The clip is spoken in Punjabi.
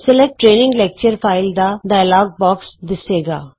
ਸਲੈਕਟ ਟਰੇਨਿੰਗ ਲੈਕਚਰ ਫਾਈਲ ਦਾ ਡਾਇਲੋਗ ਬੌਕਸ ਦਿੱਸੇਗਾ